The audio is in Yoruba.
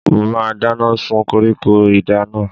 Mo máa dáná sun koríko idà náà.